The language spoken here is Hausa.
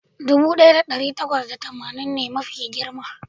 dubu daya da dari takwas da tamanin ne mafi girma